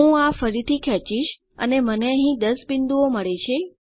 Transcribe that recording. હું આ ફરીથી ખેંચીશ અને મને અહીં 10 બિંદુઓ મળે છે